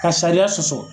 Ka sariya sɔsɔ